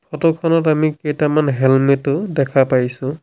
Photo খনত আমি কেইটামান হেলমেট ও দেখা পাইছোঁ।